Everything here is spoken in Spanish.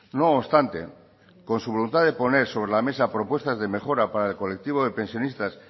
no obstante con su voluntad de poner sobre la mesa propuestas de mejora para el colectivo de pensionistas